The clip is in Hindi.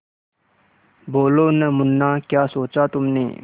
बोलो न मुन्ना क्या सोचा तुमने